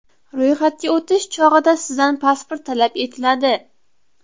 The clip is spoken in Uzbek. Ro‘yxatga o‘tish chog‘ida sizdan pasport talab etiladi.